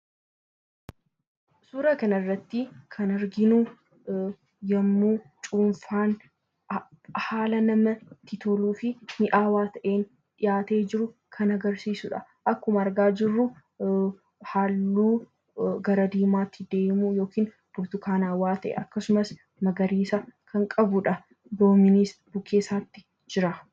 Suuraa kanarratti kan arginu yommuu cuunfaan haala namatti toluu fi mi'aawaa ta'een dhiyaatee jiru kan agarsiisudha. Akkuma argaa jirru halluu gara diimaatti deemu yookaan burtukaanawaa ta'e akkasumas magariisa kan qabudha. Loomiinis bukkee isaatti jira.